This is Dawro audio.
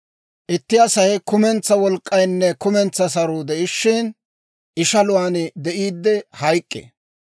Itti Asay kumentsaa wolk'k'aynne kumentsaa saruu de'ishiina, ishaluwaan de'iiddi hayk'k'ee.